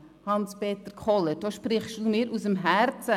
Hans-Peter Kohler, Sie sprechen mir aus dem Herzen.